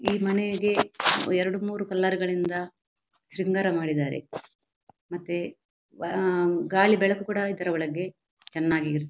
ಈ ಮನೆಗೆ ಎರಡು ಮೂರೂ ಕಲರ್ ಗಳಿಂದ ಶೃಂಗಾರ ಮಾಡಿದ್ದಾರೆ ಮತ್ತೆ ವ ಆಹ್ಹ್ ಗಾಳಿ ಬೆಳಕು ಕೂಡ ಇದರ ಒಳಗೆ ಚೆನ್ನಾಗಿ ಇರುತ--